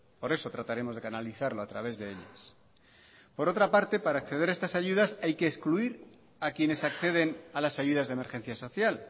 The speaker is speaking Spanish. por eso trataremos de canalizarlo a través de ellas por otra parte para acceder a estas ayudas hay que excluir a quienes acceden a las ayudas de emergencia social